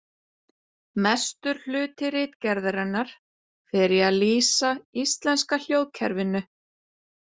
Mestur hluti ritgerðarinnar fer í að lýsa íslenska hljóðkerfinu.